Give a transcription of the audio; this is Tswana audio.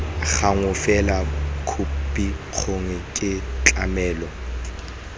gangwe fela khopikgolo ke tlamelo